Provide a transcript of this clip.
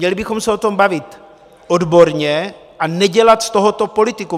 Měli bychom se o tom bavit odborně a nedělat z tohoto politikum.